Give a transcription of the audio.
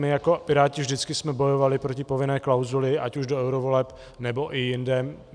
My jako Piráti vždycky jsme bojovali proti povinné klauzuli, ať už do eurovoleb, nebo i jinde.